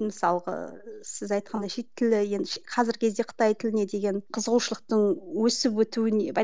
мысалғы сіз айтқан шет тілі енді қазіргі кезде қытай тіліне деген қызығушылықтың өсіп өтуіне